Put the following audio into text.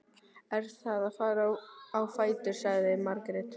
Ég er að fara á fætur, sagði Margrét.